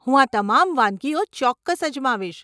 હું આ તમામ વાનગીઓ ચોક્કસ અજમાવીશ.